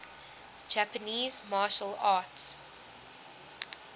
japanese martial arts